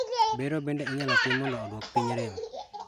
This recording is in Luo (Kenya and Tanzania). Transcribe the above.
Bero bende inyalo tii go mondo oduok piny rem